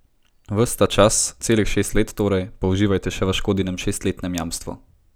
Ves ta čas, celih šest let torej, pa uživate še v Škodinem šestletnem jamstvu!